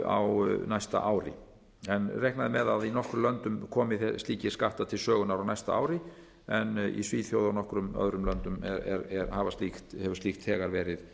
á næsta ári reiknað er með að í nokkrum löndum komi slíkir skattar til sögunnar á næsta ári en í svíþjóð og nokkrum öðrum löndum hefur slíkt þegar verið